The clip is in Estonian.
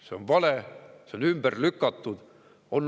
See on vale ja see on ümber lükatud.